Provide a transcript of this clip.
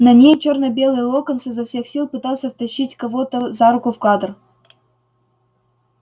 на ней чёрно-белый локонс изо всех сил пытался втащить кого-то за руку в кадр